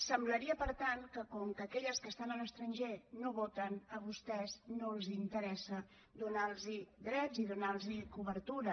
semblaria per tant que com que aquelles que estan a l’estranger no voten a vostès no els interessa donar los drets i donar los cobertura